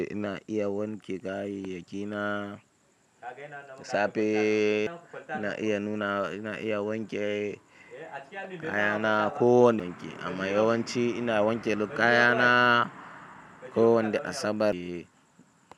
Na iya wanke kayayyaki na safe, na iya nuna, ina iya wanke kayana ko wanne yanki, amma yawanci ina wanke kayana kowanda Asabar.